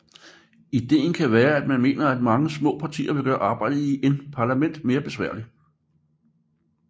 Ideen kan være at man mener at mange små partier vil gøre arbejdet i en parlament mere besværligt